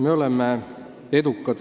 Me oleme edukad.